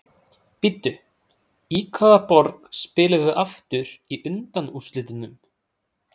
Bíddu, í hvaða borg spilum við aftur í undanúrslitunum?